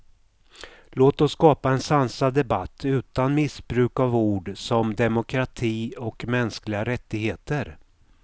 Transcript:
Låt oss skapa en sansad debatt utan missbruk av ord som demokrati och mänskliga rättigheter.